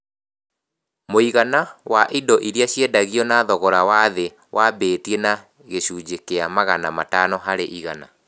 Mũigana wa indo iria ciendagio na thogora wa thĩ wambatire na gĩcunjĩ kĩa magana matano harĩ igana